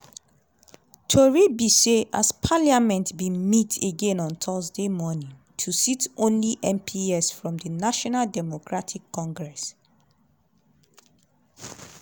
tori be say as parliament bin meet again on thursday morning to sit only mps from di national democratic congress (